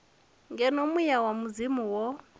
ngeno muya wa mudzimu wo